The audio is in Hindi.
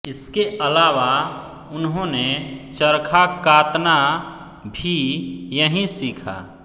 इसके अलावा उन्होंने चरखा कातना भी यहीं सीखा